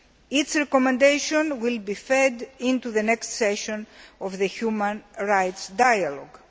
Its recommendations will be fed into the next session of the human rights dialogue.